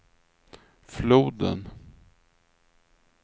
floden